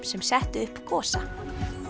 sem settu upp Gosa